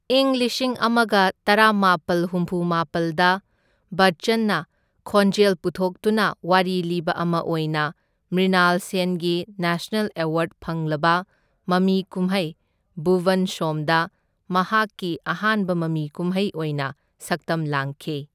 ꯏꯪ ꯂꯤꯁꯤꯡ ꯑꯃꯒ ꯇꯔꯥꯃꯥꯄꯜ ꯍꯨꯝꯐꯨꯃꯥꯄꯜꯗ ꯕꯆꯆꯟꯅ ꯈꯣꯟꯖꯦꯜ ꯄꯨꯊꯣꯛꯇꯨꯅ ꯋꯥꯔꯤ ꯂꯤꯕ ꯑꯃ ꯑꯣꯏꯅ ꯃ꯭ꯔ꯭ꯤꯅꯥꯜ ꯁꯦꯟꯒꯤ ꯅꯦꯁꯅꯦꯜ ꯑꯦꯋꯥꯔꯗ ꯐꯪꯂꯕ ꯃꯃꯤ ꯀꯨꯝꯍꯩ ꯚꯨꯕꯟ ꯁꯣꯝꯗ ꯃꯍꯥꯛꯀꯤ ꯑꯍꯥꯟꯕ ꯃꯃꯤ ꯀꯨꯝꯍꯩ ꯑꯣꯏꯅ ꯁꯛꯇꯝ ꯂꯥꯡꯈꯤ꯫